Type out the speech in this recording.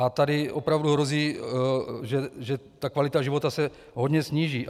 A tady opravdu hrozí, že ta kvalita života se hodně sníží.